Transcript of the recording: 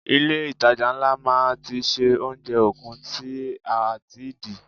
Ilé itàjà ńlá máa ti ṣe oúnjẹ okun tí a ti di.